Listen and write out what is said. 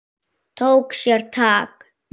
Tók sér tak.